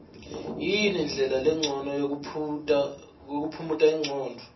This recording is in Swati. yini ndlela lencono yokuphumuta ingcondvo